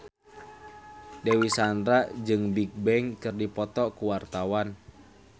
Dewi Sandra jeung Bigbang keur dipoto ku wartawan